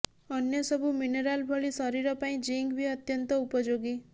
ଅନ୍ୟ ସବୁ ମିନେରାଲ୍ ଭଳି ଶରୀର ପାଇଁ ଜିଙ୍କ୍ ବି ଅତନ୍ତ୍ୟ ଉପଯୋଗୀ